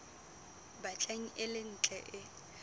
batlang e le ntle e